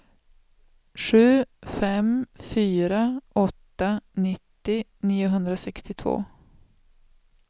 sju fem fyra åtta nittio niohundrasextiotvå